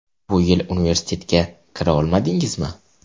Bu yil universitetga kira olmadingizmi?